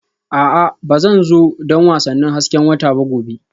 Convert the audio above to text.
A'a Ba zan zo don wasannin hasken wata ba gobe